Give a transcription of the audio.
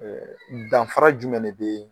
Ɛɛ danfara jumɛn de bɛ ?